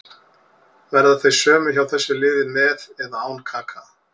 Verða þau sömu hjá þessu liði með eða án Kaka.